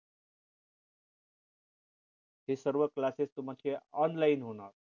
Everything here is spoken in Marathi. हे सर्व classes तुमचे online होणार